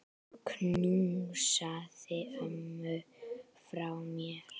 Knúsaðu ömmu frá mér.